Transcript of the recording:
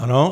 Ano.